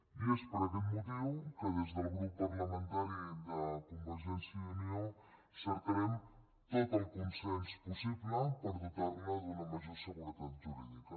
i és per aquest motiu que des del grup parlamentari de convergència i unió cercarem tot el consens possible per dotar la d’una major seguretat jurídica